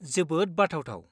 जोबोद बाथावथाव।